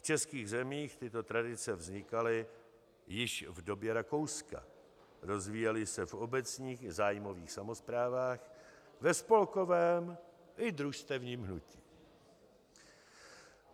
V českých zemích tyto tradice vznikaly již v době Rakouska, rozvíjely se v obecních i zájmových samosprávách, ve spolkovém i družstevním hnutí.